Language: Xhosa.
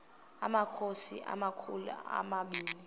amakhosi amakhulu omabini